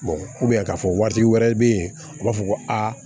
k'a fɔ waati wɛrɛ bɛ yen u b'a fɔ ko aa